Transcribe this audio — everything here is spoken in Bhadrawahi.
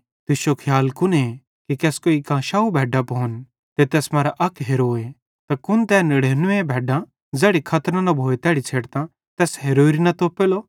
तुश्शो खियाल कुने कि केसकोई कां 100 भैड्डां भोन ते तैस मरां अक हेरोए त कुन तै नड़ेनुवें भैड्डां ज़ैड़ी खतरो न भोए तैड़ी छ़ेडतां तैस हेरोरि न तोपेलो